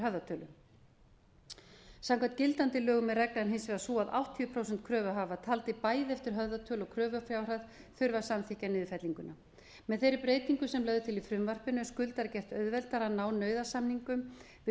höfðatölu samkvæmt gildandi lögum er reglan hins vegar sú að áttatíu prósent kröfuhafar taldir bæði eftir höfðatölu og kröfufjárhæð þurfa að samþykkja niðurfellinguna með þeirri breytingu sem lögð er til í frumvarpinu er skuldara gert auðveldara að ná nauðasamningum við